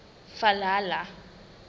valhalla